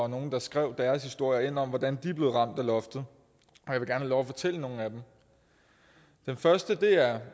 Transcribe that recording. nogle der skrev deres historie om hvordan de blev ramt af loftet og lov at fortælle nogle af dem den første er